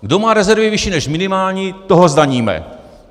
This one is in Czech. Kdo má rezervy vyšší než minimální, toho zdaníme.